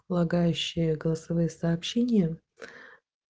лагающие голосовые сообщения